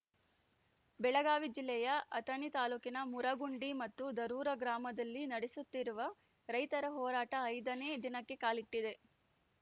ಬೆಳಗಾವಿ ಜಿಲ್ಲೆಯ ಅಥಣಿ ತಾಲೂಕಿನ ಮುರಗುಂಡಿ ಮತ್ತು ದರೂರ ಗ್ರಾಮದಲ್ಲಿ ನಡೆಸುತ್ತಿರುವ ರೈತರ ಹೋರಾಟ ಐದನೇ ದಿನಕ್ಕೆ ಕಾಲಿಟ್ಟಿದೆ